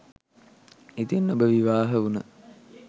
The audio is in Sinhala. ඉතින් ඔබ විවාහ වුන